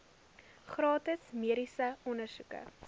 gratis mediese ondersoeke